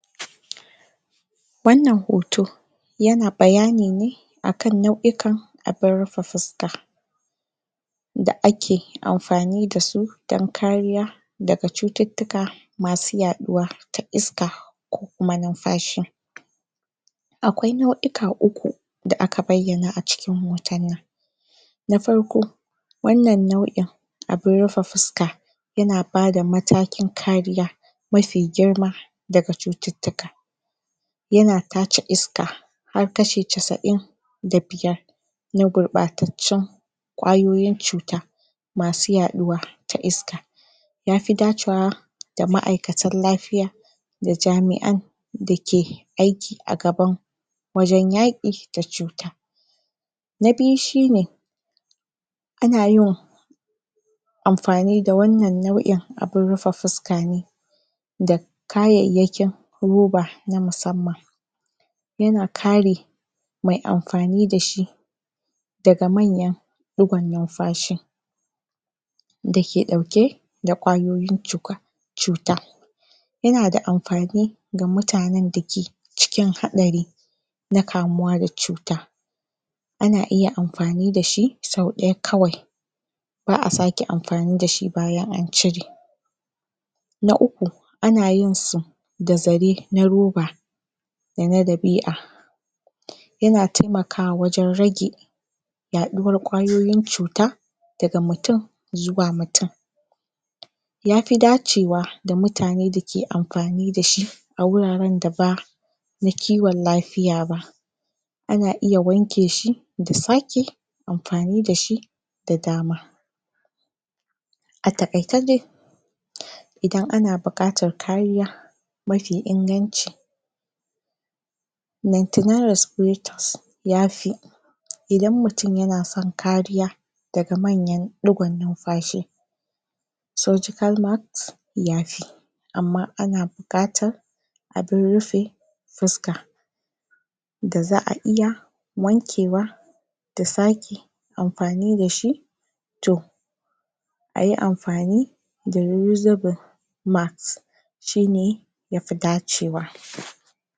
shiryawa kafin haihuwar jariri nada matuƙar mahimmanci dan tabbatar da cewa uwa da uba zasu samu sauƙi da kwanciyar hankali yayin karɓar sabon jariri ga wasu mahimman abubuwa da tsarin tallafi da ya kamata su kasance kafin haihuwa. Na farko kayan jariri za'a sama kaya dan tsaftar jariri akwai tufafi masu laushi da suka dace da yanayi sanyi ko zafi sai kuma gado ko kwanciya mai lafiya sai kuma shimfiɗa da barguna masu laushi kayan wanka da tsafta sabulun jariri tawul sai kuma man shafawa da ruwean zafi. sai kuma abunda za'a ringa ciyar da yaron idan uwa ba bata shayar bata sharaywa da nono ba ya kamata ta tanadi kwalba da madarar jariri. Na biyu kayan uwa ya kamata ta samu pad masu jini bayan haihuwa na biyu nonon roba ko ice cream don rage raɗaɗin haihuwa sai kuma tufafi masu sauƙin shayarwa da masu daɗi abinci mai gina jiki da kuma ruwa da yawa domin uwa ta warke da wuri na uku taimako da goyon bayan iyali iyaye ko ƴan uwa da zasu taimaka da ayyuka kamar girki wanke wanke ko kula da jariri abokin zama ko mijin dake da shiri don taimakawa wajen raino da kwanciyar hankali na huɗu shiryawa zuwa asibiti a tanadi jakar asibiti dake dauke da duk abubuwan da uwa da jariri zasu buƙata a tabbatar da cewa ansan inda za'a haihu da han da hanyar da za'abi a gaggauce sai na biyar ilimi da shiri; samun ilimi akan shayarwa kulawa da jariri da koyon yadda ake banvanta matsalolin lafiya zama da lilkita ko mai jinya diomin shawarwari kafin haihuwa sai kuma tara starin tafiya tabbatar da rigakafin uwa da jariri sai kuma tsare-tsaren kuɗi ko inshora domin kula da lafiyar uwa da jariri bayan haihuwa.